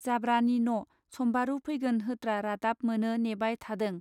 जाब्रानि न' सम्बारू फैगोन होत्रा रादाब मोनो नेबाय थादों.